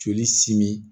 Joli simi